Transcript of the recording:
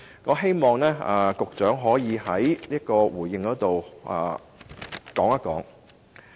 我希望局長稍後可以回應。